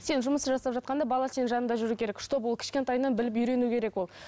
сен жұмысты жасап жатқанда бала сенің жаныңда жүру керек чтобы ол кішкентайынан біліп үйрену керек ол